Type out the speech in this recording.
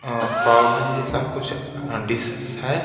अ पावभाजी जी जैसा कुछ डिश है।